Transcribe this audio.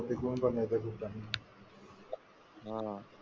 , हा, .